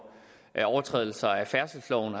overtrædelse af færdselsloven